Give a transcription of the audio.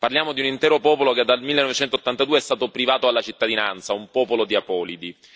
Parliamo di un intero popolo che dal 1982 è stato privato della cittadinanza, un popolo di apolidi.